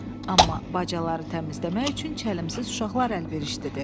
Amma bacaları təmizləmək üçün çəlimsiz uşaqlar əlverişlidir.